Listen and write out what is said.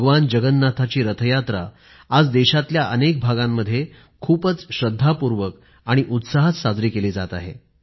भगवान जगन्नाथाची रथयात्रा आज देशातल्या अनेक भागांमध्ये खूपच श्रद्धापूर्वक आणि उत्साहात साजरी केली जात आहे